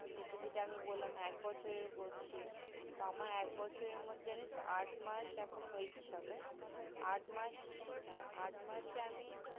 সেটা আমি যেটা বললাম যে এক বছরের করছি তো আমার এক বছরের মধ্যে জানিস তো আট মাস এখন হয়েছে সবে আট মাস হ্যা আট মাসে আমি